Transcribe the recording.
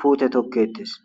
pute toketesi